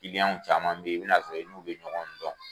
caman bɛ yen, i bɛna'a sɔrɔ i n'u bɛ ɲɔgɔn dɔn